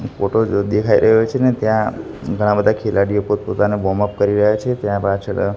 photo જો દેખાય રહ્યો છે ને ત્યાં ઘણા બધા ખેલાડીઓ પોતપોતાના વોમ અપ કરી રહ્યા છે ત્યાં પાછળ--